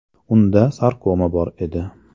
Unda sarkoma bor edi.